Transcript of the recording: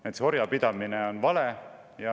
Näiteks orjapidamine on vale.